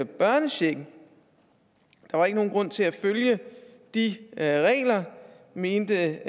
børnechecken der var ikke nogen grund til at følge de regler mente